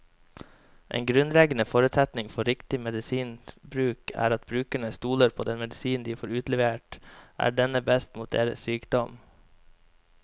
En grunnleggende forutsetning for riktig medisinbruk er at brukerne stoler på at den medisinen de får utlevert, er den beste mot deres sykdom.